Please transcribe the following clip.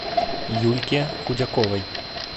юльке худяковой